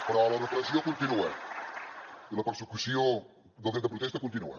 però la repressió continua i la persecució del dret de protesta continua